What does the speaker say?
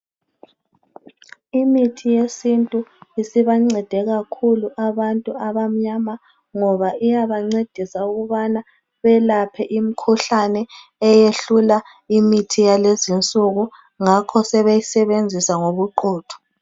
Imithi yesintu isibancede kakhulu abantu abamnyama ngoba iyabancedisa ukubana belapha imikhuhlane eyehlula imithi yalezi insuku ngakho sebeyisebenzisa ngobuqotho.